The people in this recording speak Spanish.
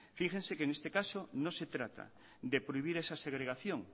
fíjense que en este caso no se trata de prohibir esa segregación